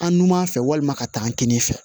An numan fɛ walima ka taa an kinin fɛ